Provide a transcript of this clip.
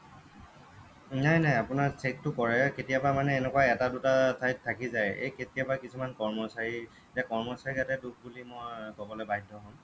নাই নাই আপোনাৰ check টো কৰে কেতিয়াবা মানে এনোকুৱা এটা দুটা ঠাইত থাকি যায় এ কেতিয়াবা কিছুমান কৰ্মচাৰী এতিয়া কৰ্মচাৰী গাতে দুখ বুলি মই কবলৈ বাধ্য় হম